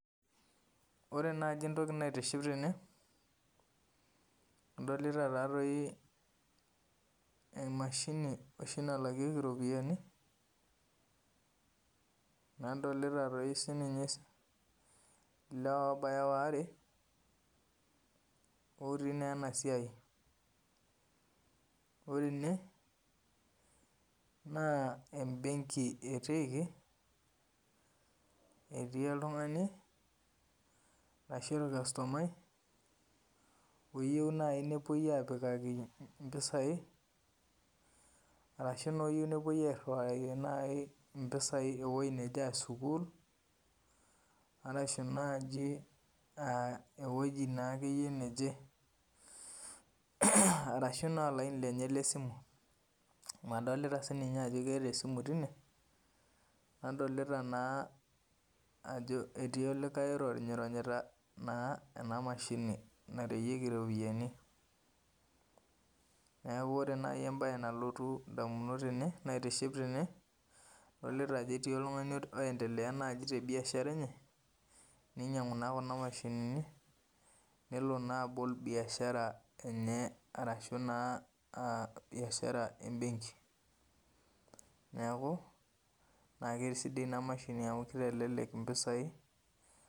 Ore najibentoki naitiship tene adolita emashini nalakieki ropiyani nadolta sinye lewa obaya waare otii na enasia ore ene na embenki etiiki etii oltungani ashu orkastomai oyieu nepuoi apikaki mpisai ashu oyieu nepuoi airiwaki mpisai ewou nejebaa sukul ashu nai ewueji naake neje arashubna olaini lenye le simu na adolta ajo eeta olaini lenye lesimu netii olikae oironyita na enamashini narewieki ropiyani neaku ore naj entoki naitiship tene na adolta ajo etiu oltungani oiendelea te biashara enye ninyangu na kuna mashinini nelo na anol biashara enye ashu biashara embenki neaku kesida inamashini amu kitelelek mpisai.